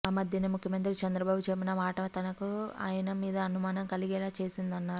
ఆ మధ్యన ముఖ్యమంత్రి చంద్రబాబు చెప్పిన మాట తనకు ఆయన మీద అనుమానం కలిగేలా చేసిందన్నారు